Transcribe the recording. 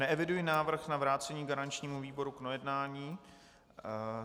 Neeviduji návrh na vrácení garančnímu výboru k projednání.